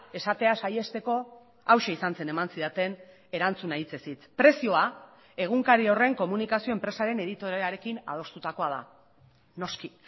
esatea saihesteko hauxe izan zen eman zidaten erantzuna hitzez hitz prezioa egunkari horren komunikazio enpresaren editorearekin adostutakoa da noski